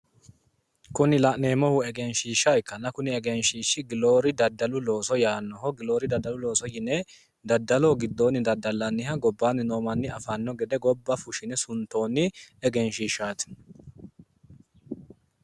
Kuni la'neemmohu egenshiishsha ikkanna kuni egenshshiishi giloori daddalu looso yaannoho. giloori daddalu looso yine daddallanniha gobbaanni noo manni afanno gede gobba fushshine suntoonni egenshshiishshaati.